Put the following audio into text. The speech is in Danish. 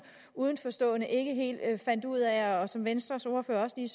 udenforstående ikke helt fandt ud af og som venstres ordfører også lige